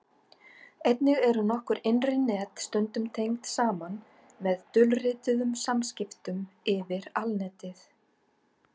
einnig eru nokkur innri net stundum tengd saman með dulrituðum samskiptum yfir alnetið